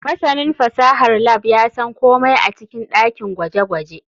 Masanin fasahar lab ya san komai a cikin dakin gwaje-gwaje.